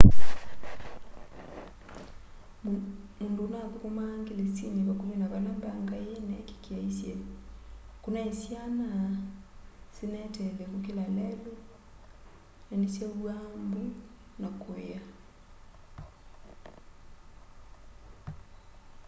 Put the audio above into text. mundũ uthukũmaa ngelesinĩ pakuvĩ na vala mbanga ĩi yineekikie aisye kunai syana sineteele kukĩla lelũ na ni syauwaa mbũ na kuia